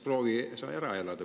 "Proovi sa ära elada!